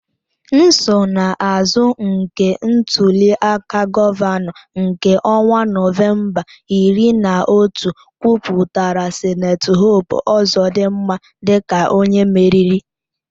Nsonaazụ nke ntuli aka gọvanọ nke ọnwa Nọvemba iri na otu kwupụtara Sen Hope Ozodinma dịka onye meriri.